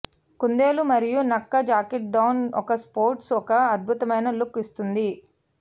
కుందేలు మరియు నక్క జాకెట్ డౌన్ ఒక స్పోర్ట్స్ ఒక అద్భుతమైన లుక్ ఇస్తుంది